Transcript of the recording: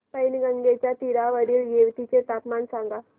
पैनगंगेच्या तीरावरील येवती चे तापमान सांगा